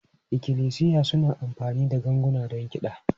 Ikklisiya suna amfani da ganguna don kiɗa.